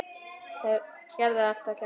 Þeir gerðu allt að keppni.